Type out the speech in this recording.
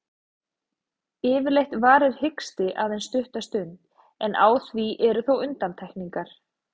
Yfirleitt varir hiksti aðeins stutta stund, en á því eru þó undantekningar.